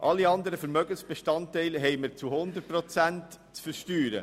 Alle anderen Vermögensbestandteile haben wir zu 100 Prozent zu versteuern.